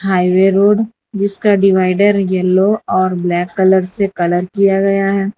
Highway road इसका divider yellow और black colour से कलर किया गया है।